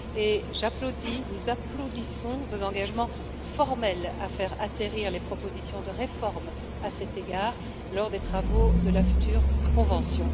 Et j'applaudis, nous applaudissons vos engagements formels à faire atterrir les propositions de réforme à cet égard, lors des travaux de la future convention.